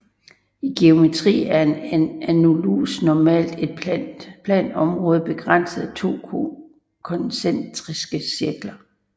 I geometri er en annulus normalt et plant område begrænset af to koncentriske cirkler